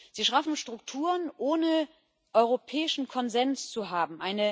Sie schaffen Strukturen, ohne europäischen Konsens zu haben.